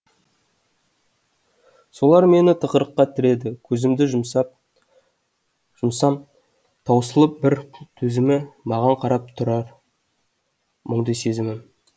солар мені тығырыққа тіреді көзімді жұмсам таусылып бар төзімі маған қарап тұарар мұңды сезімім